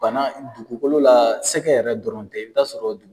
Bana dugukolo la sɛgɛ yɛrɛ dɔrɔn tɛ, i b' sɔrɔ dugukolo